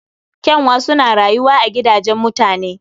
Ƙyanwa suna rayuwa a gidajen mutane